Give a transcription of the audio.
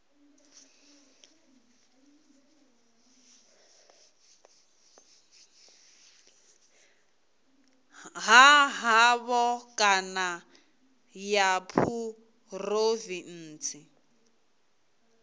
ha havho kana ya phurovintsi